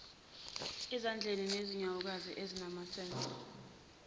ezandla nezinyawokazi ezinamansense